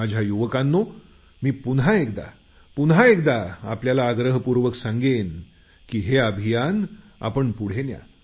माझ्या युवकांनो मी पुन्हा आग्रह करतो की हे अभियान पुढे न्या